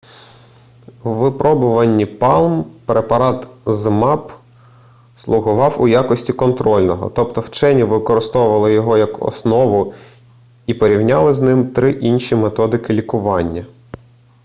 у випробуванні палм препарат zmapp слугував у якості контрольного тобто вчені використовували його як основу і порівняли з ним три інші методики лікування